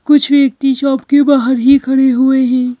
कुछ व्यक्ति शॉप के बाहर ही खड़े हुए हैं।